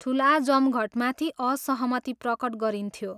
ठुला जमघटमाथि असहमति प्रकट गरिन्थ्यो।